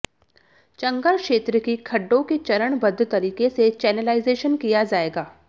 चंगर क्षेत्र की खड्डों के चरणबद्ध तरीके से चेनेलाइजेशन किया जाएगा